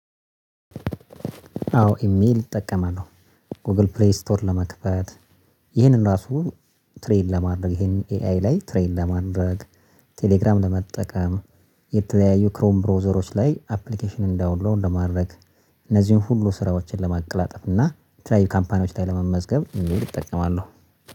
አዎ ኢሜል እጠቀማለሁ፤ ጎግል ፕሌይ ስቶር ለመክፈት፣ ይህንን ራሱ ትሬን ለማድረግ ይሄንን ኤአይ ላይ ትሬን ለማድረግ፣ ቴሌግራም ለመጠቀም፣ የተለያዩ ክሮም ብሮዘሮች ላይ አፕሊኬሽንን ዳውንሎድ ለማድረግ፣ እነዚህን ሁሉ ስራዎችን ለማቀላጠፍ፤ እና የተለያዩ ካምፓኒዎች ላይ ለመመዝገብ ኢሜል እጠቀማለሁ።